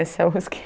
Esse é o